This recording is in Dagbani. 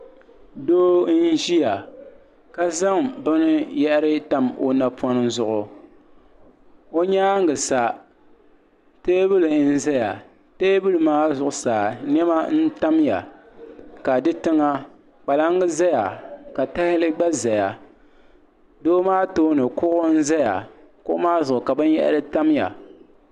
doo n-ʒiya ka zaŋ binyɛhiri tam o napɔŋ zuɣu o nyaaga sa teebuli n-zaya teebuli maa zuɣusaa nema n-tamya ka di tiŋa kpalaŋa zaya ka tahali gba zaya doo maa tooni kuɣu n-zaya kuɣu maa zuɣu ka binyɛhiri tam ya.